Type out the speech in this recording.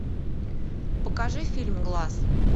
покажи фильм глаз